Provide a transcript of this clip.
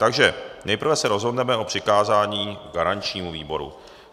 Takže nejprve se rozhodneme o přikázání garančnímu výboru.